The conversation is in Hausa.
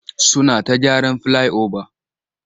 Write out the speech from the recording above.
Suna ta gyaran filai-oba.